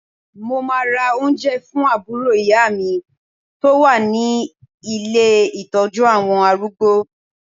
Mo máa ma ra oúnjẹ fún àbúrò ìyá mi tó wà ní ilé Ìtọ́jú àwọn arúgbó.